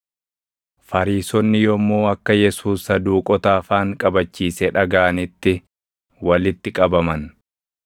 Fariisonni yommuu akka Yesuus Saduuqota afaan qabachiise dhagaʼanitti walitti qabaman.